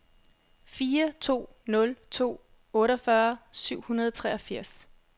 fire to nul to otteogfyrre syv hundrede og treogfirs